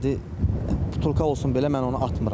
Adi butulka olsun belə mən onu atmıram.